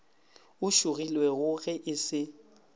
o šogilwego ge e se